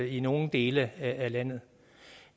i nogle dele af landet